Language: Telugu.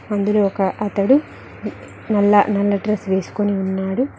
అందులో ఒక అతడు నల్ల నల్ల డ్రెస్ వేసుకొని ఉన్నాడు.